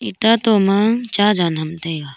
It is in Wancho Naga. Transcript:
ita toh ma cha jan ham taiga.